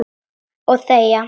Og þegja.